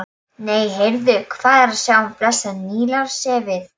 Nei, heyrðu, hvað er að sjá blessað Nílarsefið!